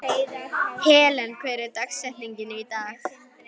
Helen, hver er dagsetningin í dag?